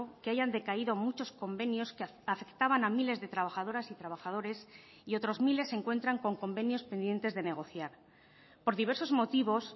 que hayan decaído muchos convenios que afectaban a miles de trabajadoras y trabajadores y otros miles se encuentran con convenios pendientes de negociar por diversos motivos